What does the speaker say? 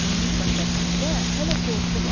Onunsa səsində hələ qorxu var.